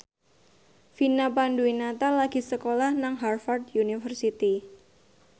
Vina Panduwinata lagi sekolah nang Harvard university